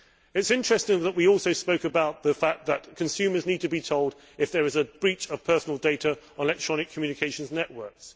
It is interesting that we also spoke about the fact that consumers need to be told if there is a breach of personal data on electronic communications networks.